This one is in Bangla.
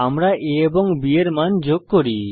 আমরা a এবং b এর মান যোগ করি